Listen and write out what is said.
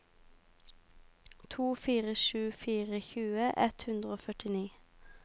to fire sju fire tjue ett hundre og førtini